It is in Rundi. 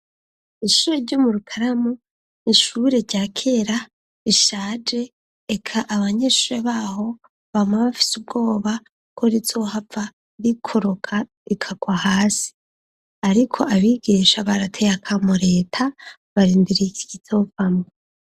ishure ryo mu rukaramu nishure rya kera rishaje , eka abanyeshure baho bama bafise ubwoba ko rizohava rikoroka rikagwa hasi .Ariko abigisha barateye akamo reta barindiriye ikizovamwo.